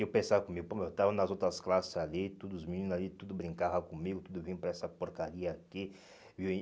E eu pensava comigo, pô, mas eu tava nas outras classes ali, todos os meninos ali, tudo brincava comigo, tudo vinha para essa porcaria aqui, viu?